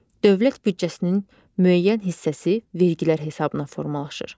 Dövlət büdcəsinin müəyyən hissəsi vergilər hesabına formalaşır.